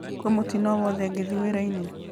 kwĩna mũtino owothe ngithiĩ wĩra-inĩ